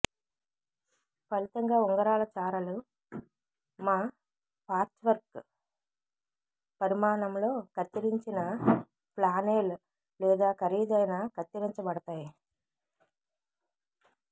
ఫలితంగా ఉంగరాల చారలు మా పార్చ్వర్క్ పరిమాణంలో కత్తిరించిన ఫ్లానేల్ లేదా ఖరీదైన కత్తిరించబడతాయి